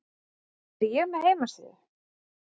Er ég með heimasíðu?